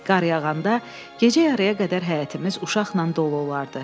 Qar yağanda gecə yarıya qədər həyətimiz uşaqla dolu olardı.